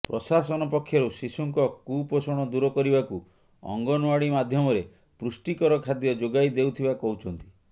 ପ୍ରଶାସନ ପକ୍ଷରୁ ଶିଶୁଙ୍କ କୁପୋଷଣ ଦୁର କରିବାକୁ ଅଙ୍ଗନଓ୍ୱାଡି ମାଧ୍ୟମରେ ପୁଷ୍ଟିକର ଖାଦ୍ୟ ଯୋଗାଇ ଦେଉଥିବା କହୁଛନ୍ତି